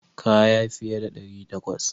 Kaya fiye da ɗari takwas.